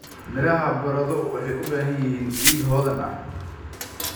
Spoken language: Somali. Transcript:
Midhaha baradho waxay u baahan yihiin ciid hodan ah.